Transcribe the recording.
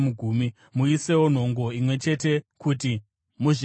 Muisewo nhongo imwe chete kuti muzviyananisire.